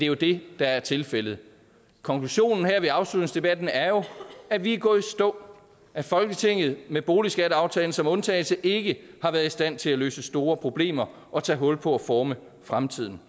jo det der er tilfældet konklusionen her ved afslutningsdebatten er jo at vi er gået i stå at folketinget med boligskatteaftalen som undtagelse ikke har været i stand til at løse store problemer og tage hul på at forme fremtiden